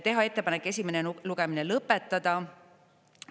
Teha ettepanek esimene lugemine lõpetada.